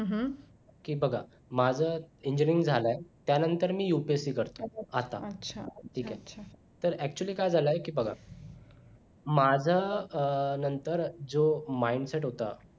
की माझं engineering झालय त्यानंतर मी UPSC करतो आता ठीक आहे तर actually काय झालाय की बघा माझ्यानंतर जो mindset होता